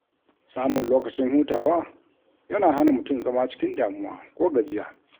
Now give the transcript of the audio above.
Samun lokacin hutawa yana hana mutum zama cikin damuwa ko gajiya.